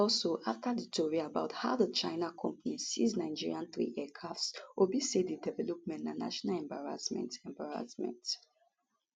also afta di tori about how di china company seize nigeria three aircrafts obi say di development na national embarrassment embarrassment